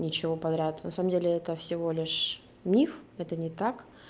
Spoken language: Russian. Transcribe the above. ничего подряд на самом деле это всего лишь миф это не так